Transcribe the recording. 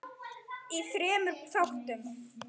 í þremur þáttum.